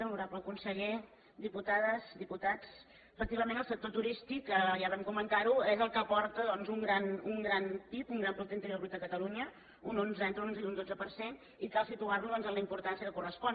honorable conseller diputades diputats efectivament el sector turístic ja vam comentar ho és el que aporta doncs un gran pib un gran producte interior brut a catalunya entre un onze i un dotze per cent i cal situar lo en la importància que correspon